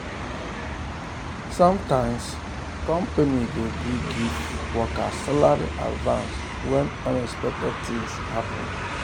sometimes company go gree give um workers salary advance when unexpected things happen. um